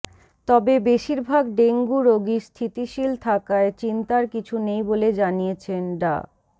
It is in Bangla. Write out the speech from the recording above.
তবে বেশিরভাগ ডেঙ্গু রোগী স্থিতিশীল থাকায় চিন্তার কিছু নেই বলে জানিয়েছেন ডা